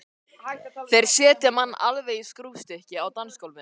Þeir setja mann alveg í skrúfstykki á dansgólfinu.